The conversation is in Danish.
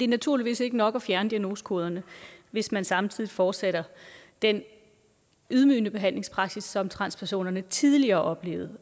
naturligvis ikke nok at fjerne diagnosekoderne hvis man samtidig fortsætter den ydmygende behandlingspraksis som transpersonerne tidligere oplevede